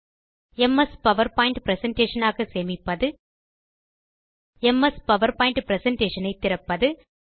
MS PowerPoint presentation ஆக சேமிப்பது M S PowerPoint presentation ஐ திறப்பது